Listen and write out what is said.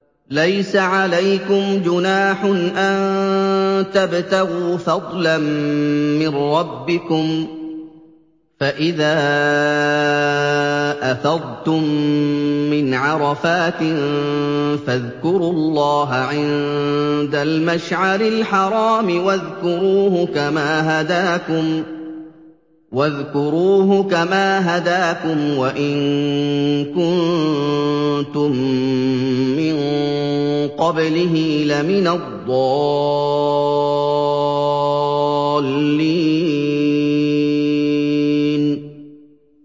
لَيْسَ عَلَيْكُمْ جُنَاحٌ أَن تَبْتَغُوا فَضْلًا مِّن رَّبِّكُمْ ۚ فَإِذَا أَفَضْتُم مِّنْ عَرَفَاتٍ فَاذْكُرُوا اللَّهَ عِندَ الْمَشْعَرِ الْحَرَامِ ۖ وَاذْكُرُوهُ كَمَا هَدَاكُمْ وَإِن كُنتُم مِّن قَبْلِهِ لَمِنَ الضَّالِّينَ